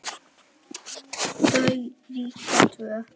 Þau ríkja tvö.